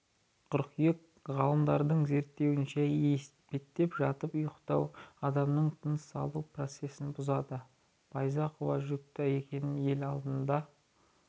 қыркүйек ғалымдардың зерттеуінше етпеттеп жатып ұйықтау адамның тыныс алу процесін бұзады байзақова жүкті екенін ел алдында